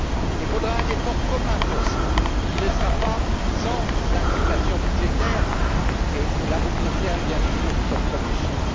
Il faudra un effort commun pour cela, qui ne sera pas sans implications budgétaires et cela vous concerne, bien sûr, au premier chef.